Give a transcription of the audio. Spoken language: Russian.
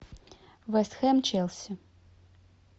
вест хэм челси